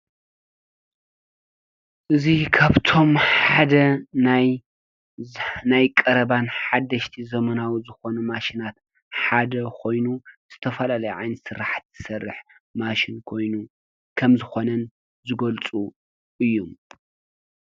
እዙይ ካብቶም ሓደ ናይ ቀረባን ሓደሽትን ዘመናዊ ዝኮኑ ማሽናት ሓደ ኮይኑ ዝተፈላለዩ ዓይነት ስራሕቲ ዝሰርሕ ማሽን ኮይኑ ከምዝኮነን ዝገልፁ እዮም?